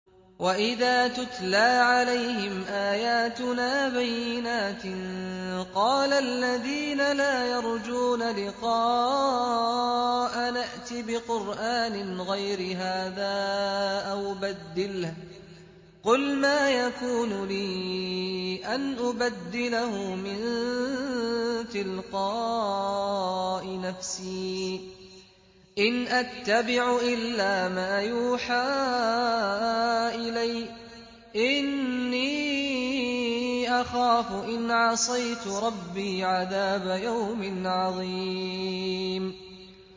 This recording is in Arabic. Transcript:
وَإِذَا تُتْلَىٰ عَلَيْهِمْ آيَاتُنَا بَيِّنَاتٍ ۙ قَالَ الَّذِينَ لَا يَرْجُونَ لِقَاءَنَا ائْتِ بِقُرْآنٍ غَيْرِ هَٰذَا أَوْ بَدِّلْهُ ۚ قُلْ مَا يَكُونُ لِي أَنْ أُبَدِّلَهُ مِن تِلْقَاءِ نَفْسِي ۖ إِنْ أَتَّبِعُ إِلَّا مَا يُوحَىٰ إِلَيَّ ۖ إِنِّي أَخَافُ إِنْ عَصَيْتُ رَبِّي عَذَابَ يَوْمٍ عَظِيمٍ